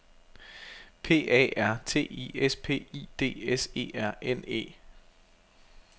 P A R T I S P I D S E R N E